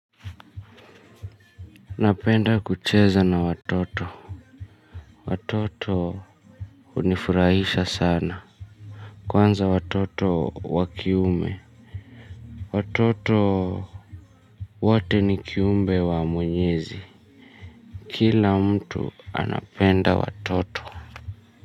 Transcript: Napenda kucheza na watoto. Watoto unifurahisha sana. Kwanza watoto wakiume. Watoto wote ni kiumbe wa mwenyezi. Kila mtu anapenda watoto.